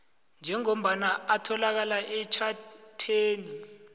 njengombana atholakala etjhatheni